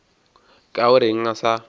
ka o reng a sa